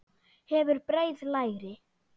Hefur breið læri.